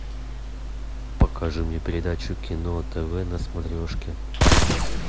покажи мне передачу кино тв на смотрешке